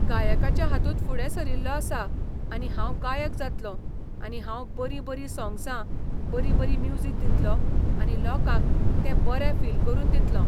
गायकाचे हातूंत फुडें सरिल्लों आसा आनी हांव गायक जातलों आनी हांव बरीं बरीं सोंग्सां, बरी बरी म्युजीक दितलों आनी लोकांक तें बरे फील करून दितलों.